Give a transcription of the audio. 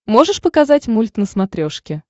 можешь показать мульт на смотрешке